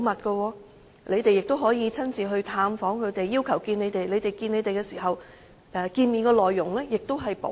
況且，議員亦可以親自探訪、要求見面，見面內容也會保密。